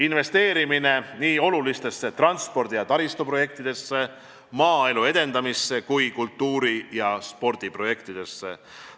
Investeerime väga olulistesse transpordi- ja taristuprojektidesse, maaelu edendamisse ning kultuuri- ja spordiprojektidesse.